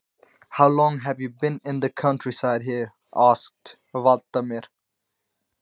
Hvað varstu lengi í sveit hérna? spurði Valdimar.